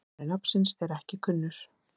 Uppruni nafnsins er ekki kunnur.